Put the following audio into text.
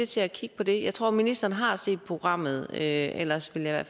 til at kigge på det jeg tror at ministeren har set programmet ellers vil jeg i